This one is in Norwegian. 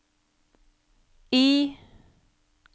I